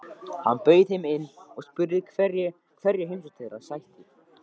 Hann bauð þeim inn og spurði hverju heimsókn þeirra sætti.